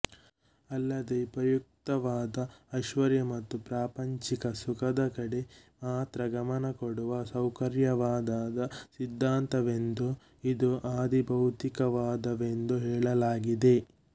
ಅಲ್ಲದೆ ಉಪಯುಕ್ತತಾವಾದ ಐಶ್ವರ್ಯ ಮತ್ತು ಪ್ರಾಪಂಚಿಕ ಸುಖದ ಕಡೆ ಮಾತ್ರ ಗಮನ ಕೊಡುವ ಸೌಕರ್ಯವಾದದ ಸಿದ್ಧಾಂತವೆಂದೂ ಇದು ಆಧಿಬೌತಿಕವಾದವೆಂದೂ ಹೇಳಲಾಗಿದೆ